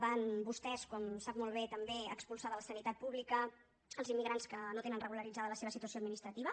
van vostès com sap molt bé també expulsar de la sanitat pública els immigrants que no tenen regularitzada la seva situació administrativa